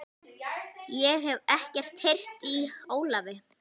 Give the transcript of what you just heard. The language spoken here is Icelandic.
Ég hef ekkert heyrt í Ólafi.